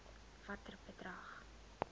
watter bedrag